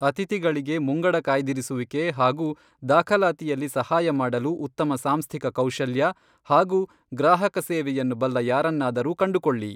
ಅತಿಥಿಗಳಿಗೆ ಮುಂಗಡ ಕಾಯ್ದಿರಿಸುವಿಕೆ ಹಾಗೂ ದಾಖಲಾತಿಯಲ್ಲಿ ಸಹಾಯ ಮಾಡಲು ಉತ್ತಮ ಸಾಂಸ್ಥಿಕ ಕೌಶಲ್ಯ ಹಾಗೂ ಗ್ರಾಹಕ ಸೇವೆಯನ್ನು ಬಲ್ಲ ಯಾರನ್ನಾದರೂ ಕಂಡುಕೊಳ್ಳಿ.